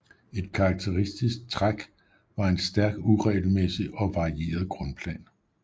Et karakteristisk træk var en stærk uregelmæssig og varieret grundplan